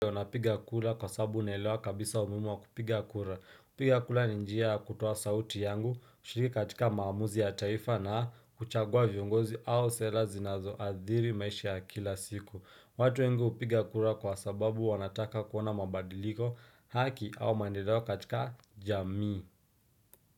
Napiga kura kwa sababu naelewa kabisa umuimu wa kupiga kura. Kupiga kura ni njia kutoa sauti yangu, kushiriki katika maamuzi ya taifa na kuchagua viongozi au sela zinazoadhiri maisha ya kila siku. Watu wengu upiga kura kwa sababu wanataka kuona mabadiliko haki au maendeleo katika jamii.